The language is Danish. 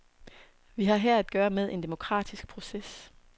Vi har her at gøre med en demokratisk proces.